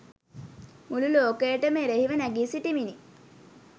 මුලු ලෝකයටම එරහිව නැඟී සිටිමිනි.